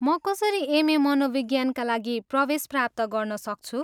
म कसरी एम.ए. मनोविज्ञानका लागि प्रवेश प्राप्त गर्न सक्छु?